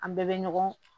An bɛɛ bɛ ɲɔgɔn